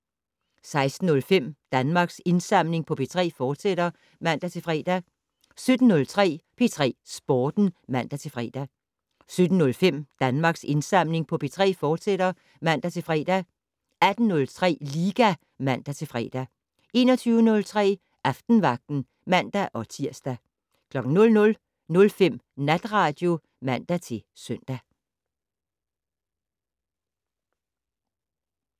16:05: Danmarks Indsamling på P3, fortsat (man-fre) 17:03: P3 Sporten (man-fre) 17:05: Danmarks Indsamling på P3, fortsat (man-fre) 18:03: Liga (man-fre) 21:03: Aftenvagten (man-tir) 00:05: Natradio (man-søn)